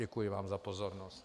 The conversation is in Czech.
Děkuji vám za pozornost.